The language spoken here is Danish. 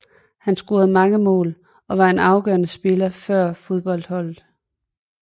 Han scorede mange mål og var en afgørende spillere før fodboldholdet